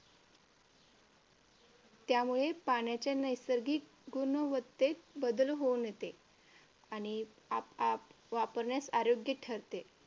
त्यामुळे पाण्याच्या नैसर्गिक गुणवत्तेत बदल होऊन येते आणि वापरण्यास अयोग्य ठरते.